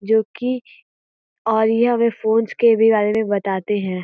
जो कि और ये हमें फोंस के भी बारे में बताते हैं।